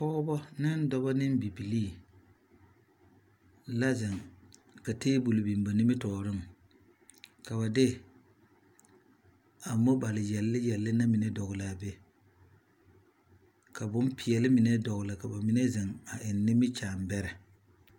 Pɔgebɔ ne dɔbɔ ne bibilii la zeŋ ka teebol biŋ ba nimitɔɔreŋ ka ba de a mobal yɛle yɛle na mine dɔgele a be ka bompeɛle mine dɔgele ka bamine zeŋ a eŋ nimikyaane bɛrɛ.